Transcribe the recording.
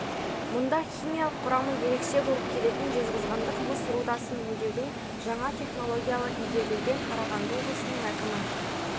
мұнда химиялық құрамы ерекше болып келетін жезқазғандық мыс рудасын өңдеудің жаңа технологиялары игерілген қарағанды облысының әкімі